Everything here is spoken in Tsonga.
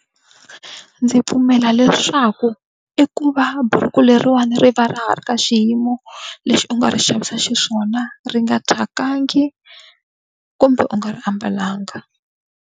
Ndzi pfumela leswaku i ku va buruku leriwani ri va ri ha ri ka xiyimo lexi u nga ri xavisa xiswona, ri nga thyakangi kumbe u nga ri ambalanga.